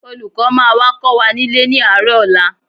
Olùkọ́ máa wá kọ́ wa nílé ní àárọ̀ ọ̀la